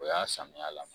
O y'a samiya la